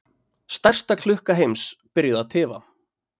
Stærsta klukkan heims byrjuð að tifa